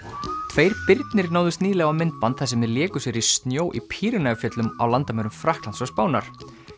tveir birnir náðust nýlega á myndband þar sem þeir léku sér í snjó í fjöllum á landamærum Frakklands og Spánar